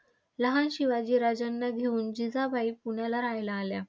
लहान शिवाजी राजांना घेऊन जिजाबाई पुण्याला रहायला आल्या.